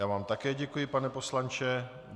Já vám také děkuji, pane poslanče.